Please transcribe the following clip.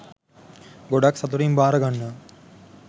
ගොඩාක් සතුටින් බාරගන්නවා